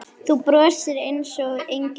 Þú brosir einsog engill.